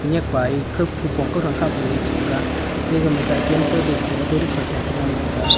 enyak pae khao phunpong khak le chata ga tega ma saikan ding pa auto rickshaw sha cha ngan taga.